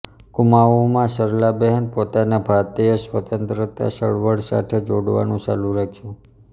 કુમાઉમાં સરલાબહેન પોતાને ભારતીય સ્વતંત્રતા ચળવળ સાથે જોડવાનું ચાલુ રાખ્યું